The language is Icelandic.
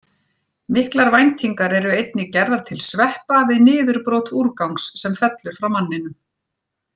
Miklar væntingar eru einnig gerðar til sveppa við niðurbrot úrgangs sem fellur frá manninum.